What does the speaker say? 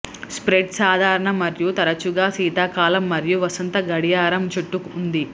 spread సాధారణ మరియు తరచుగా శీతాకాలం మరియు వసంత గడియారం చుట్టూ ఉంది